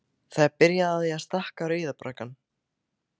Það er byrjað á því að stækka Rauða braggann.